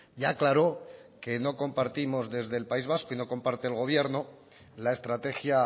ya aclaró que no compartimos desde el país vasco y no comparte el gobierno la estrategia